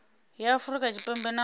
ya afurika tshipembe na u